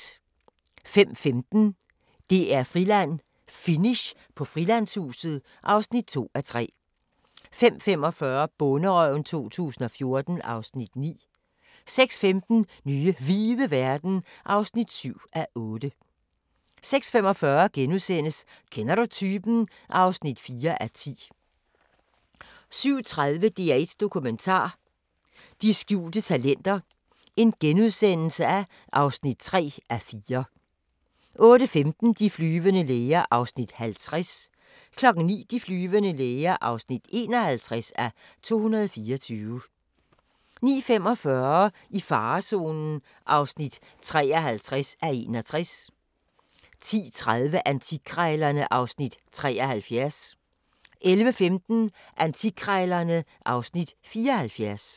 05:15: DR-Friland: Finish på Frilandshuset (2:3) 05:45: Bonderøven 2014 (Afs. 9) 06:15: Nye hvide verden (7:8) 06:45: Kender du typen? (4:10)* 07:30: DR1 Dokumentar: De skjulte talenter (3:4)* 08:15: De flyvende læger (50:224) 09:00: De flyvende læger (51:224) 09:45: I farezonen (53:61) 10:30: Antikkrejlerne (Afs. 73) 11:15: Antikkrejlerne (Afs. 74)